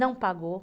Não pagou.